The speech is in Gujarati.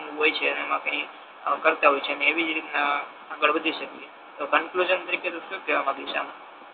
હોય છે ને એમા કઈ કરતા હોય છે ને અને એવી જ આગળ વધી શકે તો કન્ફ્યુશન તારીકે તુ શુ કેહવા માંગીશ આમ